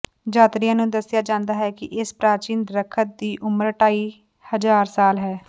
ਯਾਤਰੀਆਂ ਨੂੰ ਦੱਸਿਆ ਜਾਂਦਾ ਹੈ ਕਿ ਇਸ ਪ੍ਰਾਚੀਨ ਦਰਖ਼ਤ ਦੀ ਉਮਰ ਢਾਈ ਹਜ਼ਾਰ ਸਾਲ ਹੈ